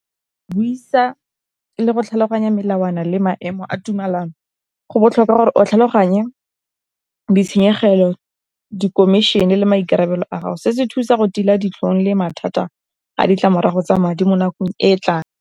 Buisa le go tlhaloganya melawana le maemo a tumelano, go botlhokwa gore o tlhaloganye ditshenyegelo, di komišene le maikarabelo a gago, se se thusa go tila ditlhong le mathata a ditlamorago tsa madi mo nakong e tla.